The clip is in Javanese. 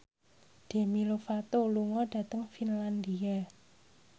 Demi Lovato lunga dhateng Finlandia